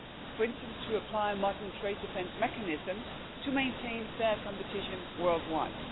For instance, to apply modern trade defence mechanisms to maintain fair competition worldwide.